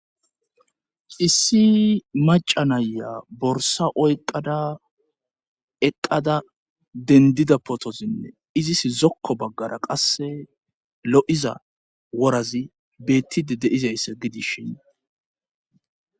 Issi maca naya borsa oyqada eqqada dendida potozinne izis zokko baggara qasse lo'iza worazi bettide de'iza issa gidishin.